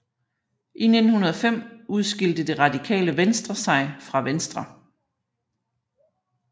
I 1905 udskilte Det Radikale Venstre sig fra Venstre